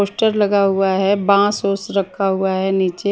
poster लगा हुआ हे बास वोश रखा हुआ हें निचे--